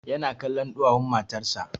Ya na kallon ɗuwawun matan sa